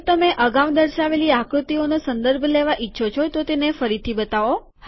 જો તમે અગાઉં દર્શાવેલી આકૃતિનો સંદર્ભ લેવા ઈચ્છો છો તો ફરીથી તેને બતાવો